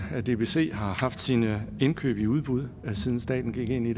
dbc har haft sine indkøb i udbud siden staten gik ind i